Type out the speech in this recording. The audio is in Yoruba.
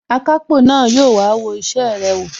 Akápò na yóò wá wo isẹ rẹ wò